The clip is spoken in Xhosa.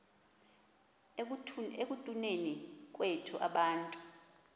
ekutuneni kwethu abantu